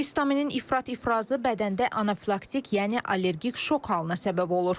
Histaminin ifrat ifrazı bədəndə anafilaktik, yəni allergik şok halına səbəb olur.